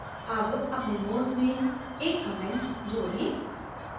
add अपने nodes में एक comment जोड़ें